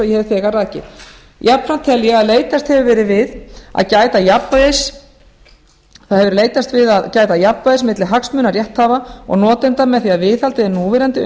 ég hef þegar rakið jafnframt tel ég að leitast hafi verið við að gæta jafnræðis milli hagsmuna rétthafa og notenda með því að viðhalda núverandi